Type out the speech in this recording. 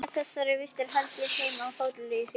Með þessar vistir hélt hann heim á hótel í hríðinni.